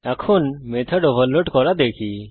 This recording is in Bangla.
এখন মেথড ওভারলোড করা দেখি